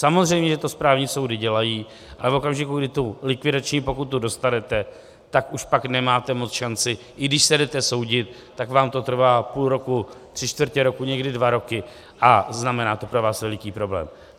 Samozřejmě, že to správní soudy dělají, ale v okamžiku, kdy tu likvidační pokutu dostanete, tak už pak nemáte moc šancí, i když se jdete soudit, tak vám to trvá půl roku, tři čtvrtě roku, někdy dva roky a znamená to pro vás velký problém.